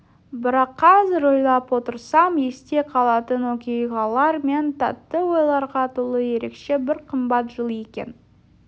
бірақ қазір ойлап отырсам есте қалатын оқиғалар мен тәтті ойларға толы ерекше бір қымбат жыл екен